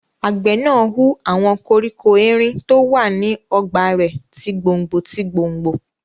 Àgbẹ̀ náà hu àwọn koríko erin tó wà ní ọgbà rẹ̀ ti gbòngbò tí gbòngbò